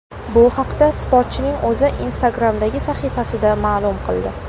Bu haqda sportchining o‘zi Instagram’dagi sahifasida ma’lum qildi .